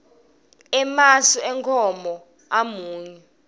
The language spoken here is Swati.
emasi enkhomo amunyu